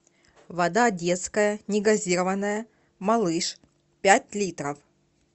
вода детская негазированная малыш пять литров